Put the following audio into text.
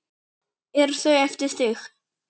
Eru þau eftir þig?